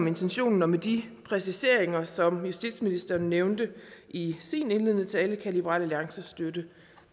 intentionen og med de præciseringer som justitsministeren nævnte i sin indledende tale kan liberal alliance støtte